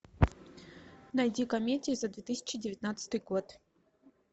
найди комедию за две тысячи девятнадцатый год